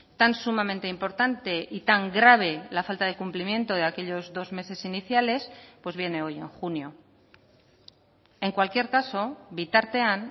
tan sumamente importante y tan grave la falta de cumplimiento de aquellos dos meses iniciales pues viene hoy en junio en cualquier caso bitartean